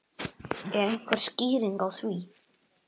Er einhver skýring á því?